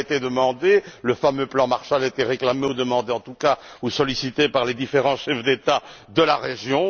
Cela a été demandé le fameux plan Marshall a été réclamé demandé, en tout cas ou sollicité par les différents chefs d'État de la région.